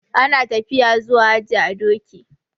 Ana tafiya zuwa haji a doki.